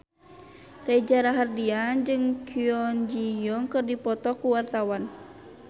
Reza Rahardian jeung Kwon Ji Yong keur dipoto ku wartawan